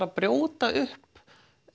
að brjóta upp